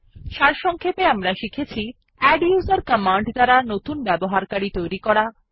সারসংক্ষেপে আমরা শিখেছি160 আদ্দুসের কমান্ড দ্বারা নতুন ব্যবহারকারী তৈরী করা